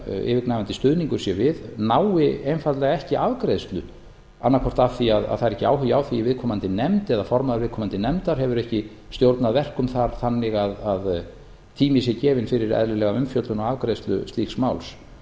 yfirgnæfandi stuðningur sé við nái einfaldlega ekki afgreiðslu annað hvort af því að það er ekki áhugi á því í viðkomandi nefnd eða að formaður viðkomandi nefndar hefur ekki stjórnað verkum þar þannig að tími sé gefinn fyrir eðlilega umfjöllun og afgreiðslu slíks máls